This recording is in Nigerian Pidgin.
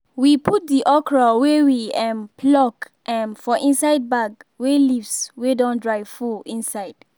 we put the okra wey we um pluck um for inside bag wey leaves wey don dry full insde